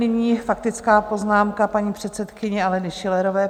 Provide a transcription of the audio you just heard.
Nyní faktická poznámka paní předsedkyně Aleny Schillerové.